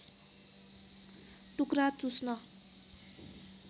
टुक्रा चुस्न